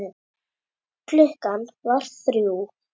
Klukkan var þrjú.